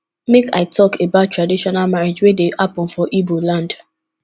make i tok about traditional marriage wey dey hapun for igboland